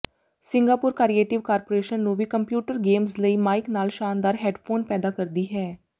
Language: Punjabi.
ਸਿੰਗਾਪੁਰ ਕਰੀਏਟਿਵ ਕਾਰਪੋਰੇਸ਼ਨ ਨੂੰ ਵੀ ਕੰਪਿਊਟਰ ਗੇਮਜ਼ ਲਈ ਮਾਈਕ ਨਾਲ ਸ਼ਾਨਦਾਰ ਹੈੱਡਫੋਨ ਪੈਦਾ ਕਰਦੀ ਹੈ